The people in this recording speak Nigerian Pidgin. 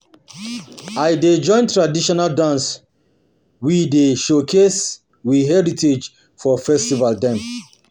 um I dey join traditional dance we dey showcase we heritage for festival dem.